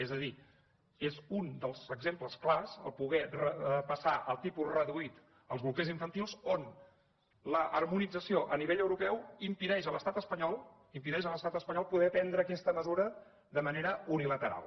és a dir és un dels exemples clars poder passar al tipus reduït els bolquers infantils on l’harmonització a nivell europeu impedeix a l’estat espanyol poder prendre aquesta mesura de manera unilateral